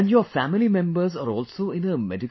And your family members are also in a medical